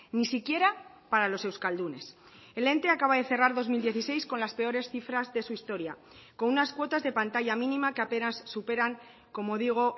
ni siquiera para los euskaldunes el ente acaba de cerrar dos mil dieciséis con las peores cifras de su historia con unas cuotas de pantalla mínima que apenas superan como digo